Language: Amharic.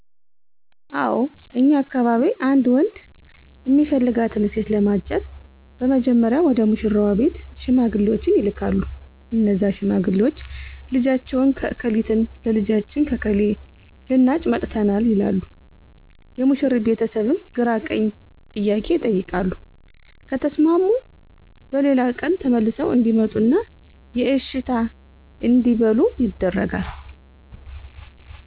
አው እኛ አካባቢ አንድ ወንድ እሚፈልጋትን ሴት ለማጨት በመጀመሪያ ወደ ሙሺራዋ ቤት ሺማግሌወች ይላካሉ እነዛ ሺማግሌወች ልጃችሁን እከሊትን ለልጃችን እከሌ ልናጭ መጥተናል ይላሉ የሙሺሪት ቤተስብም ግራቀኝ ጥያቄ ይቀይቃሉ ከተስማሙ በሌላ ቀን ተመልሰው እዴመጡና የእሺታ እዴበሉ ይደረጋል